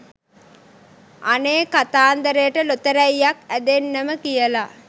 අනේ කතන්දරට ලොතරැයියක් ඇදෙන්නම කියලා